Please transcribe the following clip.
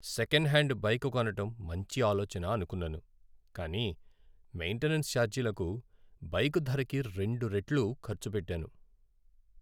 Second hand bike కొనడం మంచి ఆలోచన అనుకున్నాను, కానీ మెయింటెనెన్స్ ఛార్జీలకు బైక్ ధరకి రెండు రెట్లు ఖర్చు పెట్టాను.